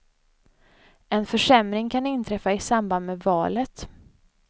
En försämring kan inträffa i samband med valet.